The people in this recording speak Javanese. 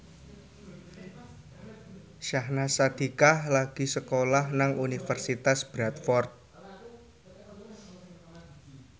Syahnaz Sadiqah lagi sekolah nang Universitas Bradford